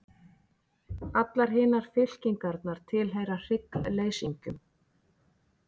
Allar hinar fylkingarnar tilheyra hryggleysingjum.